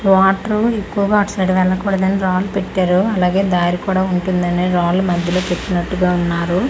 వాట్రు ఎక్కువగా అటు సైడ్ వెళ్లకూడదని రాళ్లు పెట్టారు అలాగే దారి కూడా ఉంటుందనే రాళ్లు మధ్యలో పెట్టినట్టుగా ఉన్నారు.